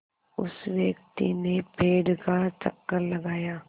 उस व्यक्ति ने पेड़ का चक्कर लगाया